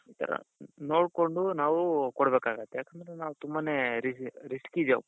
ಈತರ. ನೋಡ್ಕೊಂಡು ನಾವು ಕೊಡಬೇಕಾಗುತ್ತೆ ಯಾಕಂದ್ರೆ ನಾವು ತುಂಬಾನೇ risk ಇದೆ.